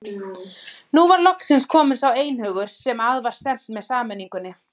Nú var loksins kominn sá einhugur sem að var stefnt með sameiningunni.